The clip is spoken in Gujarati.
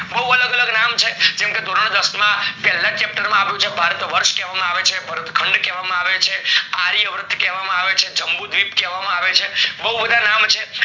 બૌ અલગ અલગ નામ છે જેમ કે ધોરણ દસ માં પેલા chapter માં આપેલ છે ભારત વર્ષ કેવામાં આવે છે ભારત ખંડ કેવા આવે છે આર્ય વ્રત કહેવામાં આવે છે જંબુ દ્વીપ કેવામાં આવે છે બૌ બધા નામ છે